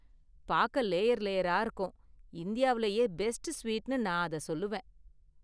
பார்க்க லேயர் லேயரா இருக்கும், இந்தியாவுலயே பெஸ்ட் ஸ்வீட்னு நான் அதை சொல்லுவேன்.